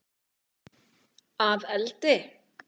Að eldi?